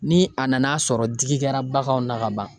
Ni a nana sɔrɔ digi kɛra baganw na ka ban